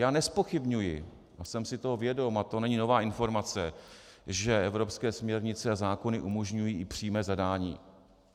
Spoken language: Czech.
Já nezpochybňuji a jsem si toho vědom, a to není nová informace, že evropské směrnice a zákony umožňují i přímé zadání.